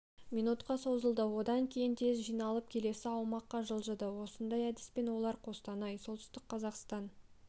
минутқа созылды одан кейін тез жиналып келесі аумаққа жылжыды осындай әдіспен олар қостанай солтүстік қазақстан